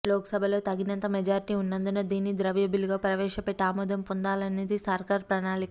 లోక్సభలో తగినంత మెజారిటీ ఉన్నందున దీన్ని ద్రవ్యబిల్లుగా ప్రవేశపెట్టి ఆమోదం పొందాలనేది సర్కారు ప్రణాళిక